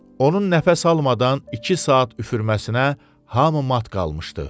Onun nəfəs almadan iki saat üfürməsinə hamı mat qalmışdı.